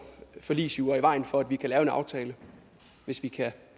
forligsjura i vejen for at vi kan lave en aftale hvis vi kan